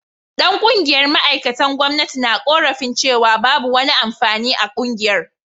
Dan kungiyar ma’aikatan gwamnati na korafin cewa babu wani amfani a kungiyar